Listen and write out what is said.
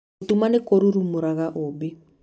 Gũtũma nĩ kũrurumũraga ũũmbi.